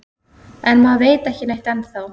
En maður veit ekki neitt ennþá